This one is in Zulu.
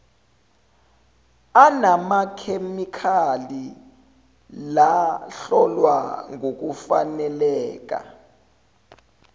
anamakhemikhali lahlolwa ngokufaneleka